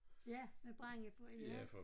Ja med brænde på ja